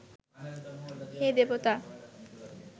হে দেবতা